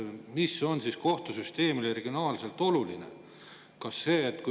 Mis on siis kohtusüsteemile regionaalselt oluline?